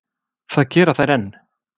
Það gera þær enn.